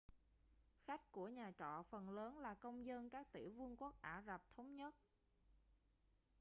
khách của nhà trọ phần lớn là công dân các tiểu vương quốc ả rập thống nhất